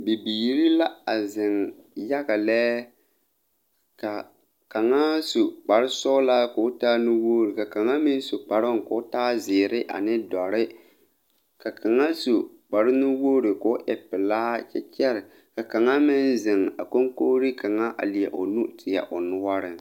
Bibiire la a zeŋ yaga lɛ ka kaŋa su kparesɔglaa koo taa nuwogre ka kaŋa meŋ su kparoŋ ko taa zeere ane dɔre ka kaŋa su kparenuwogre koo e pelaa kyɛ ka kaŋa meŋ zeŋ a koŋkogreŋ kaŋa a leɛ o nu teɛ o noɔreŋ.